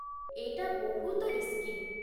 ଏଇଟା ବହୁତ ରିସ୍କି।